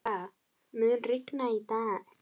Mara, mun rigna í dag?